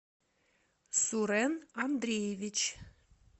сурен андреевич